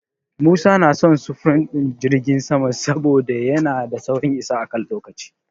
Musa yana son sufurin jirgin sama saboda yana da saurin isa a kan lokaci.